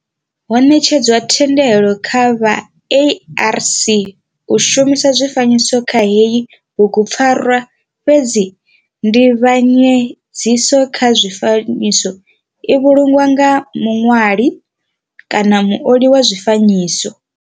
Ho netshedzwa thendelo kha vha ARC u shumisa zwifanyiso kha heyi bugupfarwa fhedzi nzivhanyedziso kha zwifanyiso i vhulungwa nga muṋwali kana muoli wa zwifanyiso.